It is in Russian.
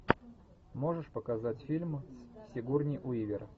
можешь показать фильм с сигурни уивер